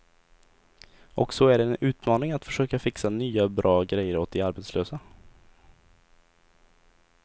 Och så är det en utmaning att försöka fixa nya, bra grejer åt de arbetslösa.